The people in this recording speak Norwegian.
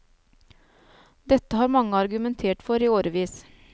Dette har mange argumentert for i årevis.